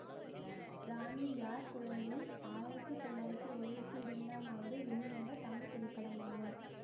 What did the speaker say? ராணி யார் குழந்தை ஆயிரத்தி தொள்ளாயிரத்தி எழுவத்தி இரண்டாம் ஆண்டு வெளிவந்த தமிழ் திரைப்படமாகும்